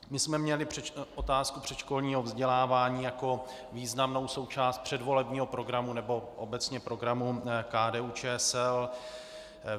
My jsme měli otázku předškolního vzdělávání jako významnou součást předvolebního programu, nebo obecně programu KDU-ČSL.